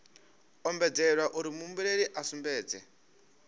ombedzelwa uri muhumbeli a sumbedze